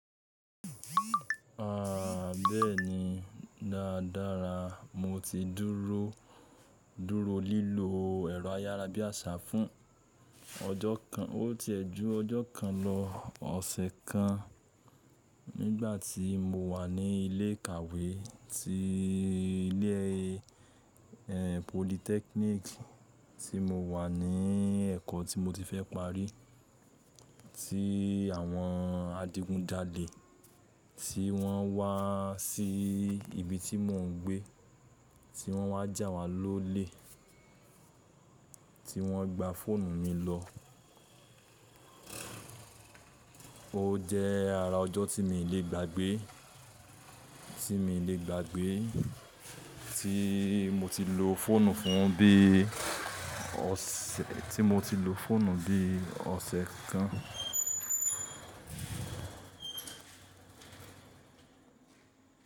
À, bẹ́ẹ̀ni dáadáa. Mo ti dúró, dúró lílo ẹ̀rọ ayárabíàṣá fún ọjọ́ kan. Ó ti ẹ̀ ju ọjọ́ kan lọ, ọ̀sẹ̀ kan nígbà tí mo wà ní ilé ìkàwé ti ilé, ẹ, polytechnic tí mo wà ní ẹ̀kọ́ tí mo ti fẹ́ parí, tí àwọn adigunjalè tí wọ́n wá sí ibi tí mò ń gbé, tí wọ́n wá jà wá lólè, tí wọ́n gba fóònù mi lọ. Ó jẹ́ ara ọjọ́ tí mi lè gbàgbé, tí mi lè gbàgbé tí mo ti lo fóònù fún bí ọ̀sẹ̀, tí mo ti lo fóònù bí ọ̀sẹ̀ kan.